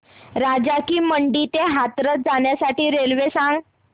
राजा की मंडी ते हाथरस जाण्यासाठी रेल्वे सांग